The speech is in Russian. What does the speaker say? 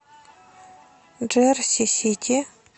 джерси сити